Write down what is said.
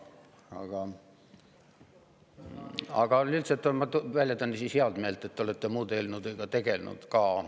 Aga ma väljendan siis heameelt, et te olete muude eelnõudega ka tegelenud.